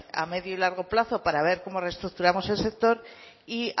a medio y largo plazo para ver cómo reestructuramos el sector y